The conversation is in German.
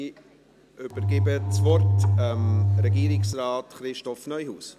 Ich übergebe das Wort Regierungsrat Christoph Neuhaus.